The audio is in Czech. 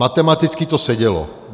Matematicky to sedělo.